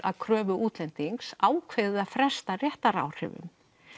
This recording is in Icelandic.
að kröfu útlendings ákveðið að fresta réttaráhrifum